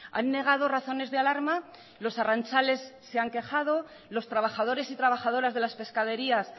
han negado razones de alarma los arrantzales se han quejado los trabajadores y trabajadoras de las pescaderías